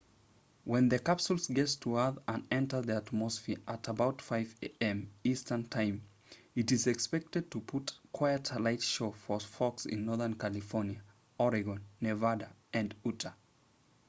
when the capsule gets to earth and enters the atmosphere at about 5am eastern time it is expected to put on quite a light show for folks in northern california oregon nevada and utah